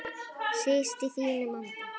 Síst í þínum anda.